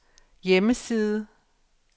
hjemmeside